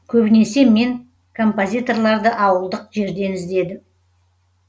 көбінесе мен композиторларды ауылдық жерден іздедім